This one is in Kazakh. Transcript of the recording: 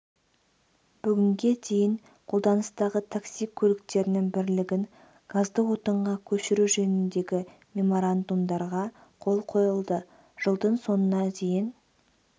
бүгінге дейін қолданыстағы такси көліктерінің бірлігін газды отынға көшіру жөніндегі меморандумдарға қол қойылды жылдың соңына дейін